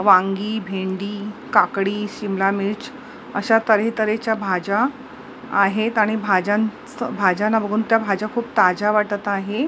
वांगी भेंडी काकडी सिमला मिरची अशा तरी तरी च्या भाज्या आहेत आणि भाज्या भाज्यांना बघून त्या भाज्या खूप ताज्या वाटत आहे.